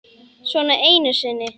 Svona einu sinni?